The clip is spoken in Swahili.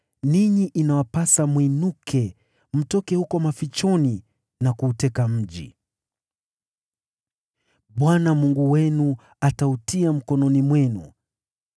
ninyi inawapasa mwinuke mtoke huko mafichoni na kuuteka mji. Bwana Mungu wenu atautia mkononi mwenu.